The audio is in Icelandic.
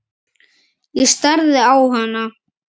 Ég starði á hana.